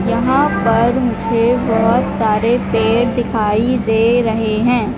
यहां पर मुझे बहोत सारे पेड़ दिखाई दे रहे हैं।